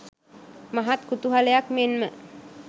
මහත් කුතුහලයක් මෙන් ම